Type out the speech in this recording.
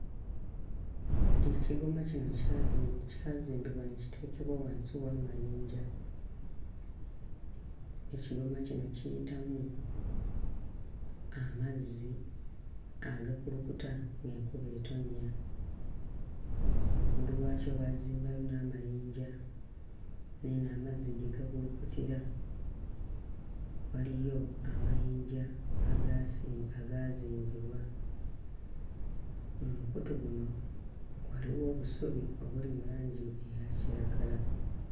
Ekigoma kino kyazi kyazimbibwa ne kiteekebwa wansi w'amayinja, ekigoma kino kiyitamu amazzi agakulukuta ng'enkuba ettonnya, waggulu wakyo baazimbayo n'amayinja n'eno amazzi gye gakulukutira waliyo amayinja agasi agazimbibwa. Omukutu guno waliwo obusubi obuli mu langi eya kiragala.